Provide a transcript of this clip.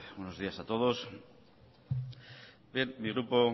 buenos días a todos bien mi grupo